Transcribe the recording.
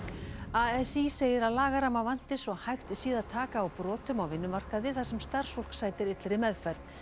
a s í segir að lagaramma vanti svo hægt sé að taka á brotum á vinnumarkaði þar sem starfsfólk sætir illri meðferð